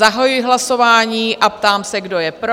Zahajuji hlasování a ptám se, kdo je pro?